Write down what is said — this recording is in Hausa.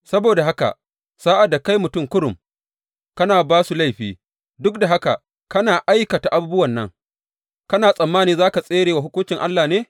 Saboda haka sa’ad da kai mutum kurum, kana ba su laifi, duk da haka kana aikata abubuwan nan, kana tsammani za ka tsere wa hukuncin Allah ne?